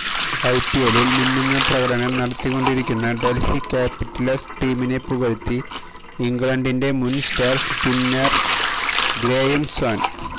ഐപിഎല്ലില് മിന്നുന്ന പ്രകടനം നത്തിക്കൊണ്ടിരിക്കുന്ന ഡല്ഹി ക്യാപ്പിറ്റല്സ് ടീമിനെ പുകഴ്ത്തി ഇംഗ്ലണ്ടിന്റെ മുന് സ്റ്റാര് സ്പിന്നര് ഗ്രേയം സ്വാന്